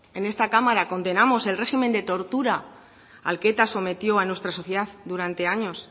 en esta cámara condenamos el régimen de tortura al que eta sometió a nuestra sociedad durante años